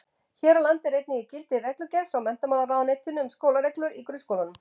Hér á landi er einnig í gildi reglugerð frá menntamálaráðuneytinu um skólareglur í grunnskólum.